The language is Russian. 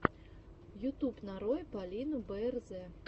ютуб нарой полину бээрзэ